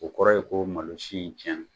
O kɔrɔ ye ko malosi in cɛna